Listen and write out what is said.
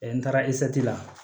n taara la